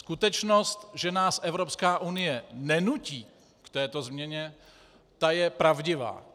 Skutečnost, že nás Evropská unie nenutí k této změně, ta je pravdivá.